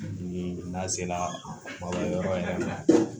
Bi n'a sera ba yɔrɔ yɛrɛ ma